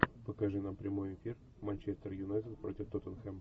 покажи нам прямой эфир манчестер юнайтед против тоттенхэм